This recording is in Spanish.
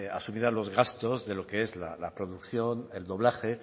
asumirá los gastos de lo que es la producción el doblaje